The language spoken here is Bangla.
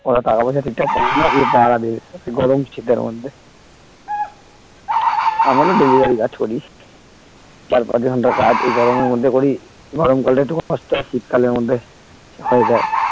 ওরা টাকা পয়সা ঠিক ঠাক পায়না এই . পাহাড়া দেবে এই গরম শীতের মধ্যে আমারও delivery কাজ করি চার পাঁচ ঘন্টা কাজ এই গরমের মধ্যে করি গরমকাল টা একটু কষ্ট আর শীত কালের মধ্যে হয়ে যায়